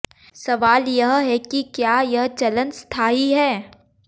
सवाल यह है कि क्या यह चलन स्थायी है